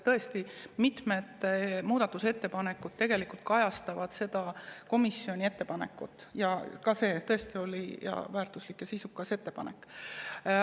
Tõesti, mitmed muudatusettepanekud kajastavad tegelikult komisjoni ettepanekut, seegi oli väärtuslik ja sisukas ettepanek.